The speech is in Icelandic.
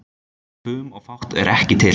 Fum og fát er ekki til.